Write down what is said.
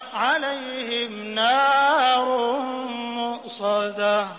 عَلَيْهِمْ نَارٌ مُّؤْصَدَةٌ